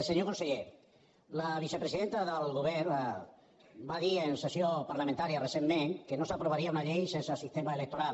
senyor conseller la vicepresidenta del govern va dir en sessió parlamentària recentment que no s’aprovaria una llei sense sistema electoral